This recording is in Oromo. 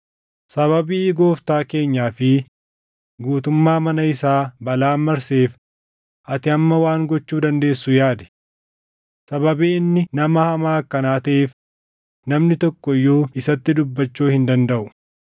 Sababii gooftaa keenyaa fi guutummaa mana isaa balaan marseef ati amma waan gochuu dandeessu yaadi. Sababii inni nama hamaa akkanaa taʼeef namni tokko iyyuu isatti dubbachuu hin dandaʼu.”